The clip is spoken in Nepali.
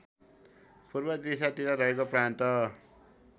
पूर्वदिशातिर रहेको प्रान्त